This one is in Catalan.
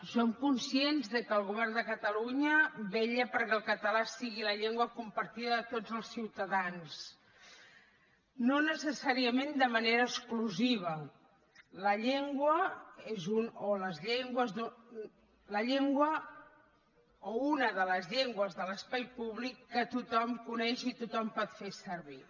som conscients que el govern de catalunya vetlla perquè el català sigui la llengua compartida de tots els ciutadans no necessàriament de manera exclusiva la llengua o una de les llengües de l’espai públic que tothom coneix i tothom pot fer servir